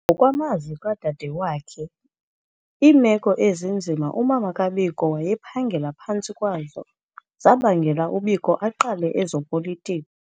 Ngokwamazwi kadadewakhe, iimeko ezinzima umama kaBiko wayephangela phantsi kwazo zabangela uBiko aqale ezopolitiko.